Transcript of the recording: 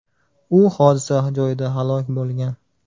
U hodisa joyida halok bo‘lgan.